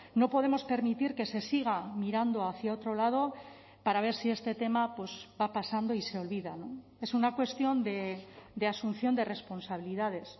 no podemos permitir que se siga mirando hacia otro lado para ver si este tema va pasando y se olvida es una cuestión de asunción de responsabilidades